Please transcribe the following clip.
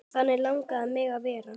Þannig langaði mig að verða.